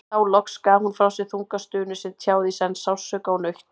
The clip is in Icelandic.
Þá loks gaf hún frá sér þunga stunu sem tjáði í senn sársauka og nautn.